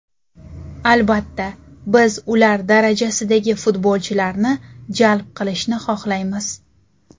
Albatta, biz ular darajasidagi futbolchilarni jalb qilishni xohlaymiz.